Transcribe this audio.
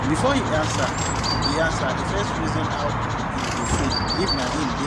shout just burst everywhere as di pipu wey bin small pass use sharp plan come win makewedrag rope game